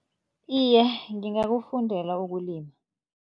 Iye, ngingakufundela ukulima.